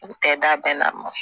U tɛ da bɛɛ la mɔ